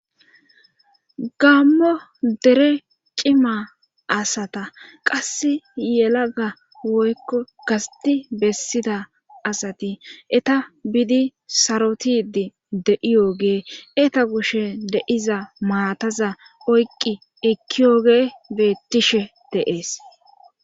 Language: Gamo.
gammo dere cima asata qass yelaga woykko gasti bessida asati eta biidi sarotidi de7iyoogee eta gushe deiza maataza oyqqi ekkiyoge beettishe deees